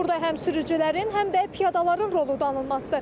Burda həm sürücülərin, həm də piyadaların rolu danılmazdır.